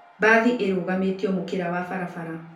Bathĩ ĩrũgamĩtĩo mũkĩra wa barabara.